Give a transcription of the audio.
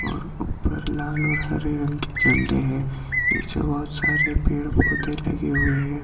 और हरे रंग के झंडे हैं नीचे बहुत सारे पेड़ पौधे लगे हुए हैं।